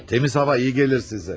Təmiz hava iyi gəlir sizə.